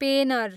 पेनर